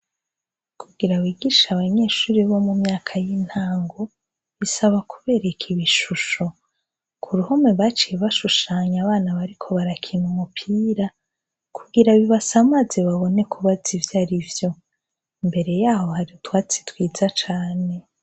Kugira wigisha abanyeshuri bo mu myaka y'intango bisaba kubereka ibishusho ku ruhome baciye bashushanya abana bariko barakina umupira kugira bibasa amaze babone kubaza ivyo ari vyo mbere yaho hari utwatsi twiza cane.